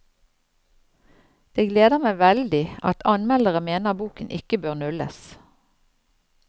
Det gleder meg veldig at anmeldere mener boken ikke bør nulles.